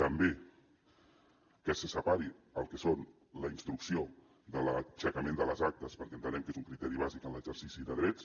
també que se separi el que és la instrucció de l’aixecament de les actes perquè entenem que és un criteri bàsic en l’exercici de drets